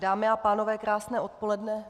Dámy a pánové, krásné odpoledne.